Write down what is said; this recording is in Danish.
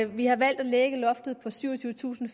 vi har valgt at lægge loftet på syvogtyvetusinde